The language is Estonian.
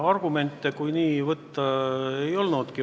Argumente, kui nii võtta, ei olnudki.